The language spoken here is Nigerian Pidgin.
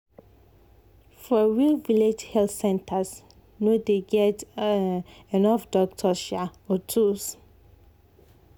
for real village health centers no dey get um enough doctor um or tools.